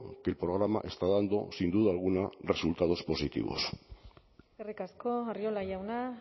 que el programa está dando sin duda alguna resultados positivos eskerrik asko arriola jauna